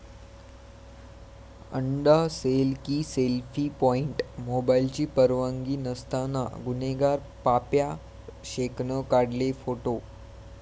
अंडा सेल की selfie point? मोबाईलची परवानगी नसताना गुन्हेगार पाप्या शेखनं काढले फोटो